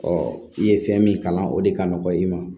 i ye fɛn min kalan o de ka nɔgɔ i ma